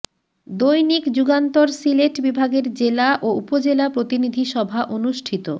দৈনিক যুগান্তর সিলেট বিভাগের জেলা ও উপজেলা প্রতিনিধি সভা অনুষ্ঠিত